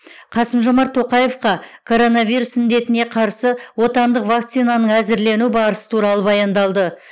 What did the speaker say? қасым жомарт тоқаевқа коронавирус індетіне қарсы отандық вакцинаның әзірлену барысы туралы баяндалды